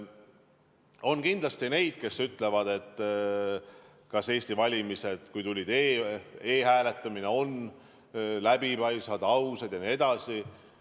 On kindlasti neid, kes küsivad, kas Eesti valimised, kui on olnud e-hääletamine, on läbipaistvad, ausad jne.